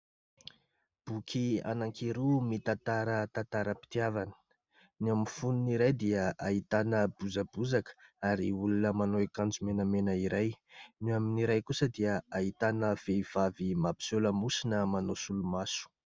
Boky anankiroa mitantara tantaram-pitiavana, ny amin'ny fonony iray dia ahitana bozabozaka ary olona manao akanjo menamena iray, ny amin'iray kosa dia ahitana vehivavy mampiseho lamosina manao solomaso.